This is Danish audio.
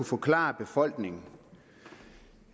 forklare befolkningen